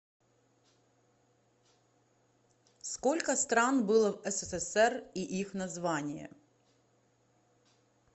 сколько стран было в ссср и их названия